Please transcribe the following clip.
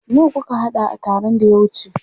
Nawa kuka haɗa a taron da ya wuce?